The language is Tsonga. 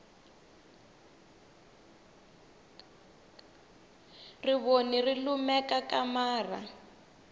rivoni ri lumekakamara